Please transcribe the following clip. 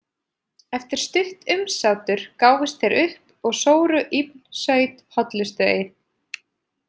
Eftir stutt umsátur gáfust þeir upp og sóru Ibn Saud hollustueið.